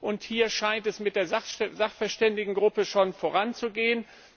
Und hier scheint es mit der Sachverständigengruppe schon voranzugehen.